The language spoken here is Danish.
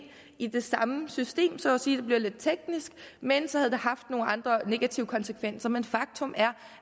i det samme system så at sige det bliver lidt teknisk men så havde det haft nogle andre negative konsekvenser men faktum er